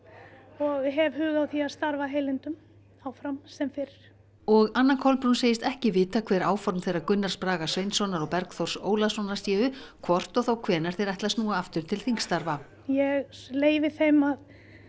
og hef hug á því að starfa að heilindum áfram sem fyrr og Anna Kolbrún segist ekki vita hver áform þeirra Gunnars Braga Sveinssonar og Bergþórs Ólasonar séu hvort og þá hvenær þeir ætli að snúa aftur til þingstarfa ég leyfi þeim að